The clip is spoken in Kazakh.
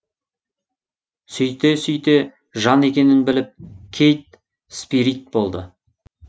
сөйте сөйте жан екенін біліп кейт спирит болды